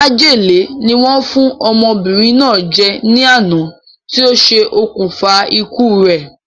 Májèlé ni wọ́n fún ọmọbìnrin náà jẹ ní àná ti o se òkùnfà ikú re